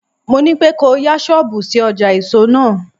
Mo ní pé kò o yá ṣọ́bùù sí ọjà èso náà.